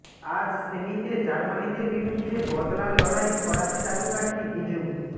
আজ সেমিতে জার্মানিদের বিরুদ্ধে বদলার লড়াই ফরাসি জাদুকাঠি গিজু